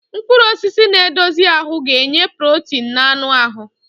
Mkpụrụ osisi na-edozi ahụ ga-enye protein na anụ ahụ.